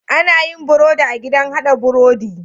Anayin birodi a gidan hada birodi